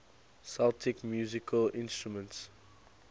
celtic musical instruments